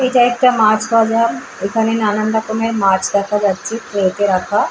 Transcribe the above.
এটা একটা মাছ বাজার এখানে নানান রকমের মাছ দেখা যাচ্ছে কেটে রাখা--